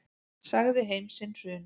Sagði heim sinn hruninn.